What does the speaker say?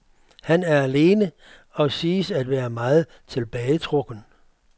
Han er alene og siges at være meget tilbagetrukken.